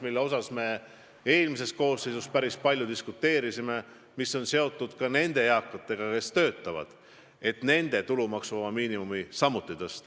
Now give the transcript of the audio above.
Me ju eelmises koosseisus päris palju diskuteerimisime selle üle, et töötavatel pensionäridel tuleb tulumaksuvaba miinimumi määra tõsta.